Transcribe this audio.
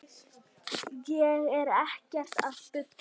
Ég er ekkert að bulla.